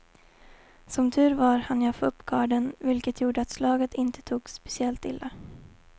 Som tur var hann jag få upp garden, vilket gjorde att slaget inte tog speciellt illa.